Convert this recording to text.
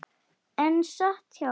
Einn sat hjá.